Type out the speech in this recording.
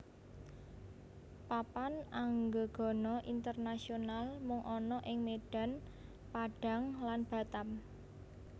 Papan Anggegana Internasional mung ana ing Medan Padang lan Batam